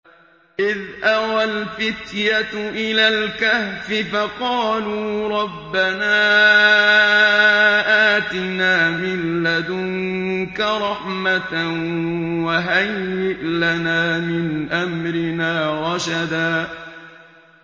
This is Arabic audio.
إِذْ أَوَى الْفِتْيَةُ إِلَى الْكَهْفِ فَقَالُوا رَبَّنَا آتِنَا مِن لَّدُنكَ رَحْمَةً وَهَيِّئْ لَنَا مِنْ أَمْرِنَا رَشَدًا